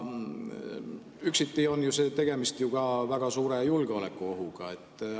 Üksiti on tegemist ju ka väga suure julgeolekuohuga.